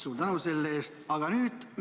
Suur tänu selle eest!